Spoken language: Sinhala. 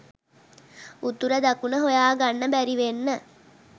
උතුර දකුණ හොයාගන්න බැරිවෙන්න